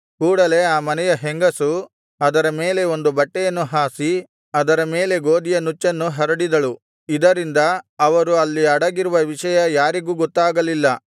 ಕೂಡಲೆ ಆ ಮನೆಯ ಹೆಂಗಸು ಅದರ ಮೇಲೆ ಒಂದು ಬಟ್ಟೆಯನ್ನು ಹಾಸಿ ಅದರ ಮೇಲೆ ಗೋದಿಯ ನುಚ್ಚನ್ನು ಹರಡಿದಳು ಇದರಿಂದ ಅವರು ಅಲ್ಲಿ ಅಡಗಿರುವ ವಿಷಯ ಯಾರಿಗೂ ಗೊತ್ತಾಗಲಿಲ್ಲ